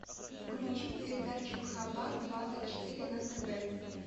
включи передачу хабар двадцать четыре на тв